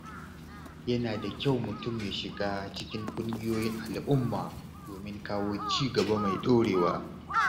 Yana da kyau mutum ya shiga cikin ƙungiyoyin al’umma domin kawo cigaba mai ɗorewa.